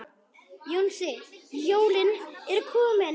Jónsi, jólin eru komin.